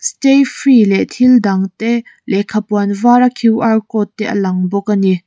stayfree leh thil dang te lekha puan var a qr code te alang bawk a ni.